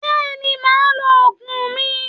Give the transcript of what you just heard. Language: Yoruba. Bẹ́ẹ̀ ni, màá lo oògùn mi